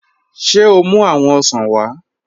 Ṣé o mú awọn òṣàn wa?